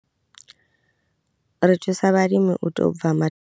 Ri thusa vhalimi u tou bva.